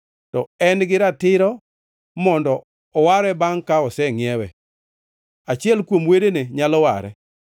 to en giratiro mondo oware bangʼ ka osengʼiewe. Achiel kuom wedene nyalo ware.